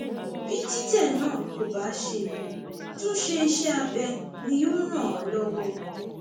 bí títẹ náà kò bá ṣeé tún ṣe iṣẹ abẹ ni yóò ràn án lọwọ